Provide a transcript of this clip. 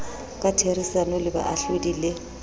ka therisano le baahlodi le